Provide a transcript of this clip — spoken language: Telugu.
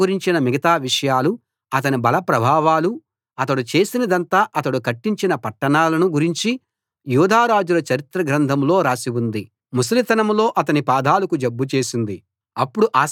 ఆసా గురించిన మిగతా విషయాలు అతని బలప్రభావాలూ అతడు చేసినదంతా అతడు కట్టించిన పట్టణాలను గురించి యూదా రాజుల చరిత్ర గ్రంథంలో రాసి వుంది ముసలితనంలో అతని పాదాలకు జబ్బు చేసింది